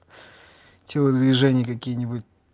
телодвижения какие-нибудь